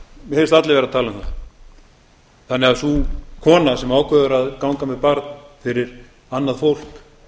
verður aldrei tekinn þannig að sú kona sem ákveður að ganga með barn fyrir annað fólk